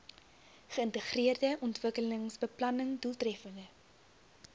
geïntegreerde ontwikkelingsbeplanning doeltreffende